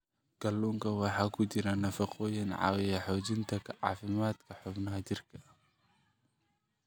Kalluunka waxaa ku jira nafaqooyin caawiya xoojinta caafimaadka xubnaha jirka.